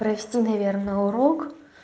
прости наверное урок